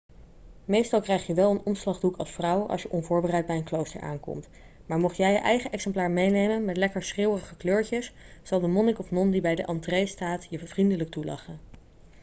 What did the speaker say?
meestal krijg je wel een omslagdoek als vrouw als je onvoorbereid bij een klooster aankomt maar mocht jij je eigen exemplaar meenemen met lekker schreeuwerige kleurtjes zal de monnik of non die bij de entree staat je vriendelijk toelachen